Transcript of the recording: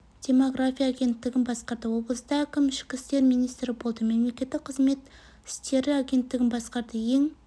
демография агенттігін басқарды облыста әкім ішкі істер министрі болды мемлекеттік қызмет істері агенттігін басқарды ең